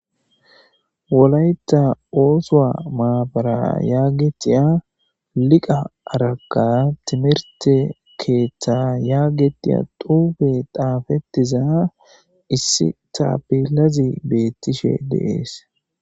Wolayta oosowa maabara yaagetiya liqa araka timirte keeththa yaagetiya duufe taafetiza issi taapilazi beettishe deees